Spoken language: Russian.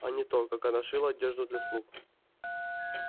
а не то так она шила одежду для слуг